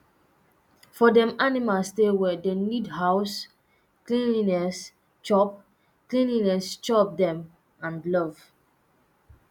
for dem animal stay well dem need house, cleanliness chop, cleanliness, chop dem and love